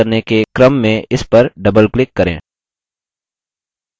समूह को प्रविष्ट करने के क्रम में इस पर doubleclick करें